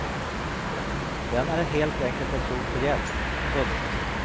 Den är helt enkelt ett rop på hjälp. punkt